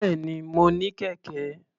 Bẹ́ẹ̀ni, mo ní kẹ̀kẹ́.